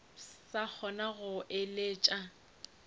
sa kgona go mo eleletša